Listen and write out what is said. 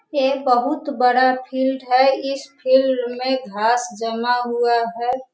ये बहुत बड़ा फील्ड है इस फील्ड में घास जमा हुआ है।